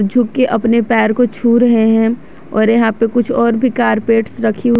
छू के अपने पैर को छू रहे हैं और यहां पे कुछ और भी कार्पेट्स रखी--